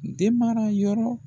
Denmara yɔrɔ